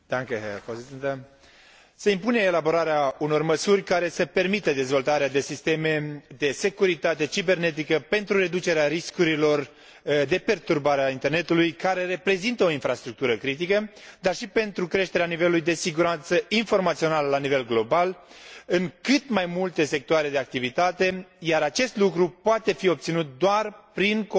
Se impune elaborarea unor măsuri care să permită dezvoltarea de sisteme de securitate cibernetică, pentru reducerea riscurilor de perturbare a internetului, care reprezintă o infrastructură critică, dar și pentru creșterea nivelului de siguranță informațională la nivel global, în cât mai multe sectoare de activitate, iar acest lucru poate fi obținut doar prin cooperare internațională.